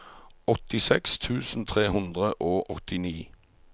åttiseks tusen tre hundre og åttini